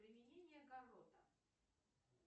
применение карота